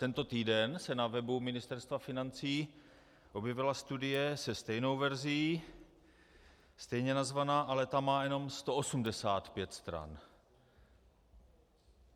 Tento týden se na webu Ministerstva financí objevila studie se stejnou verzí, stejně nazvaná, ale ta má jenom 185 stran.